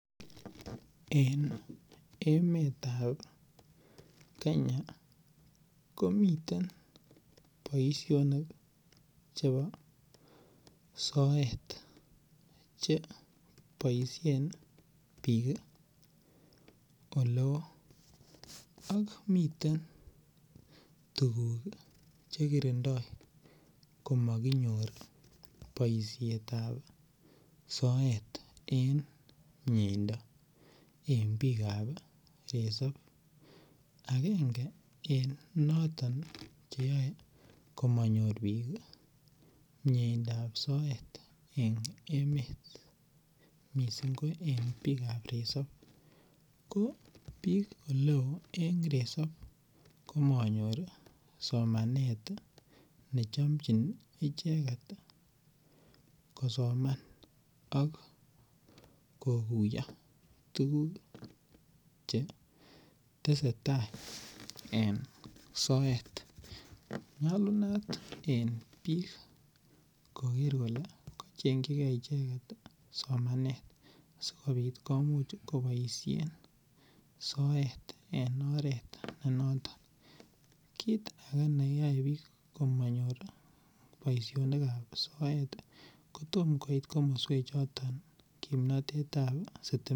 En emetab Kenya komiten boisionik chebo soet cheboisien bik oleo ak miten tuguk chekirindo komokinyor boishetab soet en mieimdo en bikab resources, agenge en noton komonyor bik mieindab soet ii en emet missing ko en bikab resop ko bik eleo en resop komonyor somanet nechomjin icheket kosoman ok kokuyo tugul chetesetaa en soet nyolunot en bik koker kole kochengji gee icheket somanet sikobit komuch koboisien soet en oret nenoton, kit ake neyoe bik komonyor boishonikab soet kotom koit komoswechoton kimnotetab sitimet.